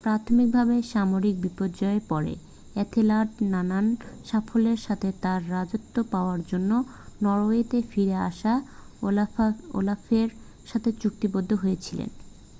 প্রাথমিক ভাবে সামরিক বিপর্যয়ের পরে এথেলার্ড নানান সাফল্যের সাথে তার রাজত্ব পাওয়ার জন্য নরওয়েতে ফিরে আসা ওলাফের সাথে চুক্তিবদ্ধ হয়েছিলেন